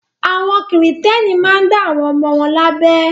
Àwọn Kìrìtẹ́ẹ́nì máa ń dá àwọn ọmọ wọn lábẹ.